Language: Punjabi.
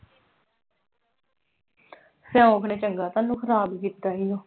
ਸਿਉਂਖ ਨੇ ਚੰਗਾ ਤੁਹਾਨੂੰ ਖ਼ਰਾਬ ਕੀਤਾ ਈ ਆ।